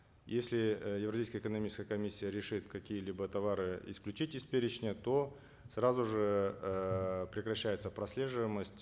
если э евразийская экономическая комиссия решит какие либо товары исключить из перечня то сразу же эээ прекращается прослеживаемость